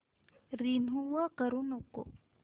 remove करू नको